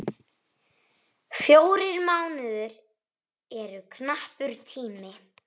Fjórir mánuðir eru knappur tími.